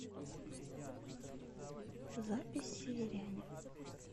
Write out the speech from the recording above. запись северяне